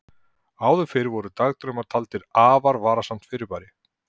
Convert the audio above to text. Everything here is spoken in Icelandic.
áður fyrr voru dagdraumar taldir afar varasamt fyrirbæri